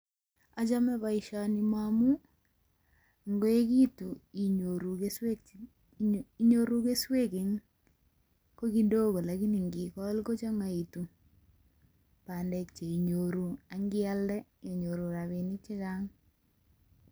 Achame boisioni moamun ngoegitu inyoru keswek. Inyoru keswek ko kidogo lakini inging'ol kochang'aekitu bandek che inyoru ak ingialde inyoru rabinik che kayam.